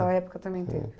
sua época também teve.